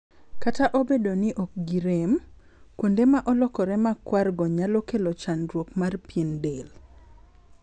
Kta obedo no ok gi rem, kuonde ma olokore ma kwar go nyalo kelo chandruok mar pien del.